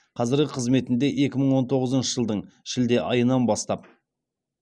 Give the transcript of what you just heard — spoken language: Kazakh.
қазіргі қызметінде екі мың он тоғызыншы жылдың шілде айынан бастап